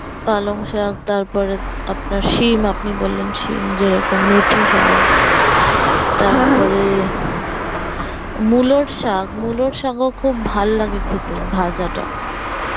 পালং শাক তারপরে আপনার সিম আপনি বললেন শিম যেরকম মেথি শাক পরে, মুলোর শাক খুব ভালো লাগে খেতে ভাজাটা